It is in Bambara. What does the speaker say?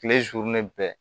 Kile bɛɛ